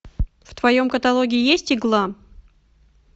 в твоем каталоге есть игла